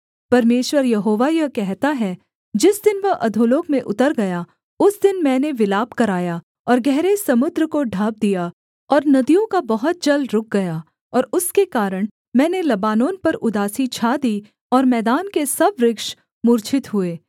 परमेश्वर यहोवा यह कहता है जिस दिन वह अधोलोक में उतर गया उस दिन मैंने विलाप कराया और गहरे समुद्र को ढाँप दिया और नदियों का बहुत जल रुक गया और उसके कारण मैंने लबानोन पर उदासी छा दी और मैदान के सब वृक्ष मूर्छित हुए